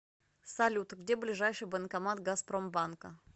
салют где ближайший банкомат газпромбанка